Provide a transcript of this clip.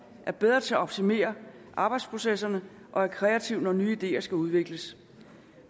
er bedre til at optimere arbejdsprocesserne og er kreativ når nye ideer skal udvikles